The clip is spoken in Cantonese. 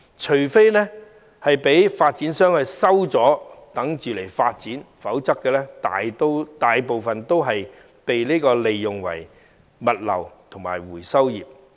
除非發展商將相關土地收回以待發展，否則當中大部分均為物流業和回收業所用。